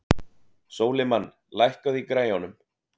Sólimann, lækkaðu í græjunum.